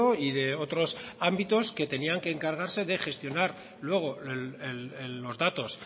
y de otros ámbitos que debían de encargarse de gestionar luego los datos